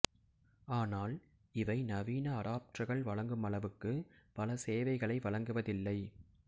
ஆனால் இவை நவீன அடாப்டர்கள் வழங்குமளவுக்கு பல சேவைகளை வழங்குவதில்லை